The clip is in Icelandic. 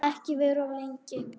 Og ekki vera of lengi.